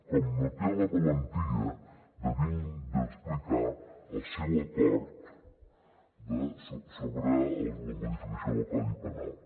com no té la valentia d’explicar el seu acord sobre la modificació del codi penal